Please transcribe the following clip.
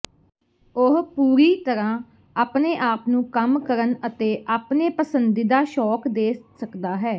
ਉਹ ਪੂਰੀ ਤਰ੍ਹਾਂ ਆਪਣੇ ਆਪ ਨੂੰ ਕੰਮ ਕਰਨ ਅਤੇ ਆਪਣੇ ਪਸੰਦੀਦਾ ਸ਼ੌਕ ਦੇ ਸਕਦਾ ਹੈ